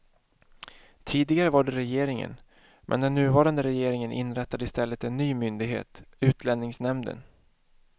Tidigare var det regeringen, men den nuvarande regeringen inrättade i stället en ny myndighet, utlänningsnämnden.